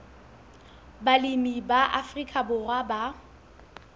balemi ba afrika borwa ba